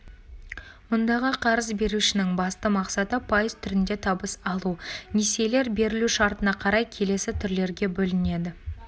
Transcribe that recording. мұндағы қарыз берушінің басты мақсаты пайыз түрінде табыс алу несиелер берілу шартына қарай келесі түрлерге бөлінеді